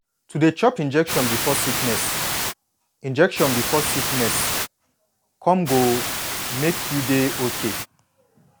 to dey chop injection before sickness injection before sickness come go make you dey okay